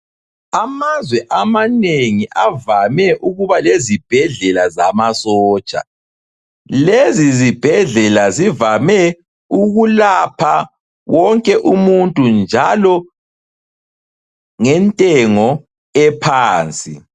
Amazwe amanengi avame ukuba lezibhedlela zamasotsha. Lezizibhedlela zivame ukulapha wonke umuntu njalo ngentengo ephansi.